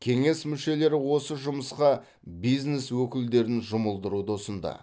кеңес мүшелері осы жұмысқа бизнес өкілдерін жұмылдыруды ұсынды